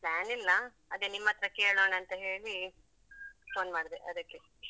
Plan ಇಲ್ಲ ಅದೇ ನಿಮ್ಮತ್ರ ಕೇಳೋಣ ಅಂತ ಹೇಳಿ phone ಮಾಡ್ದೆ ಅದಕ್ಕೆ.